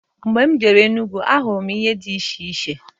Mgbe m jere Enugu n'ahụrụ m ihe di iche iche.